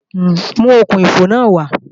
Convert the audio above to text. Mú okùn-ìfò náà wá!